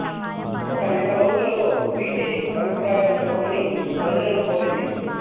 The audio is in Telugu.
ఒక నెల రోజులలో వీటిఐ అభిప్రాయాలు చెప్పమని ప్రజలను కోరింది